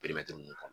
ninnu